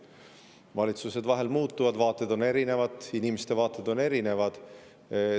Valitsused vahel muutuvad, vaated on erinevad, inimeste vaated on erinevad.